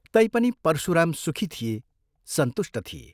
तैपनि परशुराम सुखी थिए, सन्तुष्ट थिए।